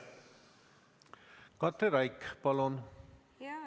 Katri Raik, palun!